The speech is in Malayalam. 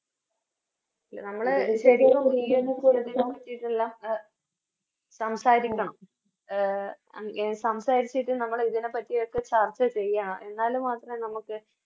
സംസാരിക്കണം സംസാരിച്ചിട്ട് നമ്മള് ഇതിനെപ്പറ്റിയൊക്കെ ചർച്ച ചെയ്യണം എന്നാല് മാത്രേ നമുക്ക്